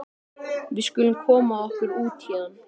Við skulum koma okkur út héðan.